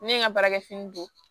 Ne ye n ka baarakɛ fini don